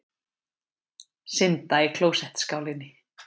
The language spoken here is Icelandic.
Synda í klósettskálinni.